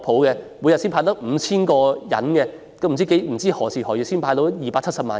每天只"派錢"給 5,000 人，不知何時何月才能完成"派錢"給270萬人？